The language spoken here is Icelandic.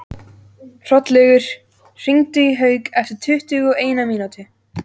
Hrollaugur, hringdu í Hauk eftir tuttugu og eina mínútur.